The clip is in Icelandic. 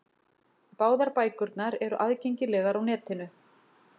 Báðar bækurnar eru aðgengilegar á netinu.